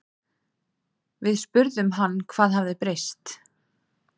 Við spurðum hann hvað hafi breyst?